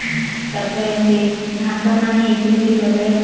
ତାପରେ ସେଇ ଘାସ ମାନେ ହିଚିସୀ ତଲେ